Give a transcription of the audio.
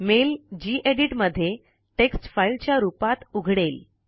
mail gedit मध्ये text file च्या रुपात उघडेल